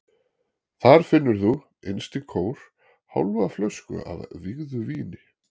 Þar finnur þú, innst í kór, hálfa flösku af vígðu víni.